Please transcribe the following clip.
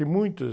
Tem muitas.